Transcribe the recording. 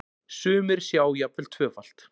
Sumir sjá jafnvel tvöfalt.